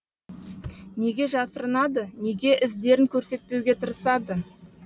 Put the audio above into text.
неге жасырынады неге іздерін көрсетпеуге тырысады